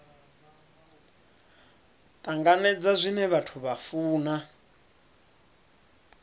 tanganedza zwine vhathu vha funa